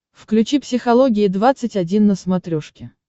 включи психология двадцать один на смотрешке